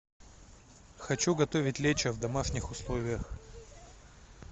хочу готовить лечо в домашних условиях